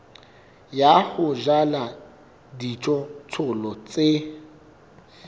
ya ho jala dijothollo tse